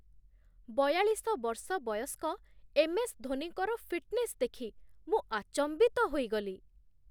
ବୟାଳିଶ ବର୍ଷ ବୟସ୍କ ଏମ୍ ଏସ୍ ଧୋନିଙ୍କର ଫିଟ୍ନେସ୍ ଦେଖି ମୁଁ ଆଚମ୍ବିତ ହୋଇଗଲି।